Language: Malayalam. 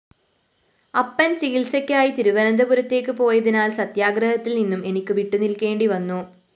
അപ്പന്‍ ചികിത്സയ്ക്കായി തിരുവനന്തപുരത്തേക്ക് പോയതിനാല്‍ സത്യാഗ്രഹത്തില്‍ നിന്നും എനിക്ക് വിട്ടുനില്‍ക്കേണ്ടിവന്നു